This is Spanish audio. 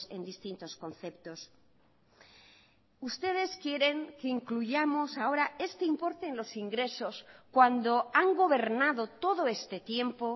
en distintos conceptos ustedes quieren que incluyamos ahora este importe en los ingresos cuando han gobernado todo este tiempo